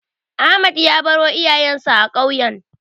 Ahmed ya baro iyayensa a ƙauyen.